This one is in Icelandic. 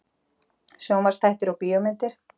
SJÓNVARPSÞÆTTIR OG BÍÓMYNDIR